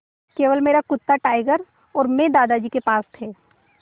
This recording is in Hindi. केवल मेरा कुत्ता टाइगर और मैं दादाजी के पास थे